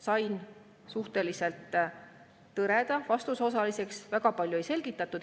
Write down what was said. Sain suhteliselt tõreda vastuse osaliseks, väga palju ei selgitatud.